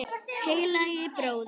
Heilagi bróðir!